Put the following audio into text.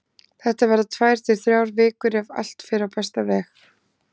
Þetta verða tvær til þrjár vikur ef allt fer á besta veg.